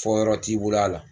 Fɔ yɔrɔ t'i bolo a la